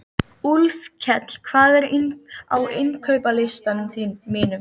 Úlfkell, hvað er á innkaupalistanum mínum?